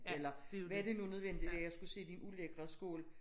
Eller var det nu nødvendigt at jeg skulle se din ulækre skål